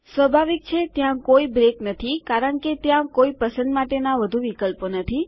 સ્વાભાવિક છેત્યાં કોઈ બ્રેક નથી કારણ કે ત્યાં કોઈ પસંદ માટેના વધુ વિકલ્પો નથી